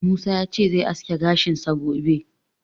Musa ya ce zai aske gashinsa gobe.